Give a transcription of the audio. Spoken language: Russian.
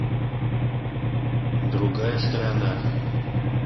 другая сторона